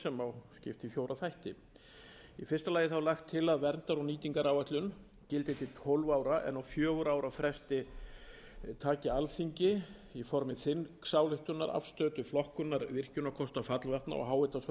má skipta í fjóra þætti í fyrsta lagi er lagt til að verndar og nýtingaráætlun gildi til tólf ára en á fjögurra ára fresti taki alþingi í formi þingsályktunar afstöðu til flokkunar virkjunarkosta fallvatna og háhitasvæða á